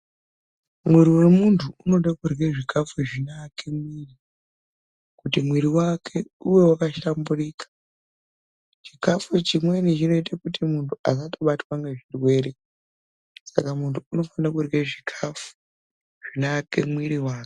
Mwiri wemuntu unode kurya zvikhafu zvinoake mwiri, kuti mwiri wake uve wakahlamburika. Chikhafu chimweni chinoite kuti muntu asatobatwa ngezvirwere, saka muntu unofana kurye zhikhafu zvinoake mwiri wake.